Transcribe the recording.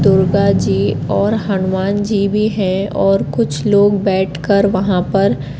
दुर्गा जी और हनुमान जी भी है और कुछ लोग बैठकर वहां पर--